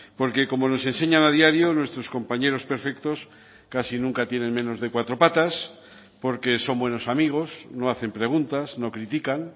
porque como nos enseñan a diario nuestros compañeros perfectos casi nunca tienen menos de cuatro patas porque son buenos amigos no hacen preguntas no critican